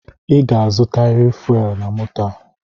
I ga-azutaririr fuelu na moto a!